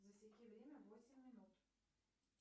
засеки время восемь минут